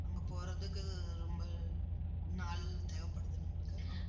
அங்க போறதுக்கு, ரொம்ப நாள் தேவைப்படுது நம்மளுக்கு